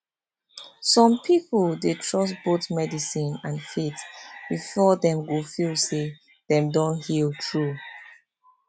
some people dey trust both medicine and faith before dem go feel say dem don heal true